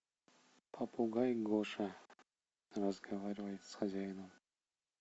попугай гоша разговаривает с хозяином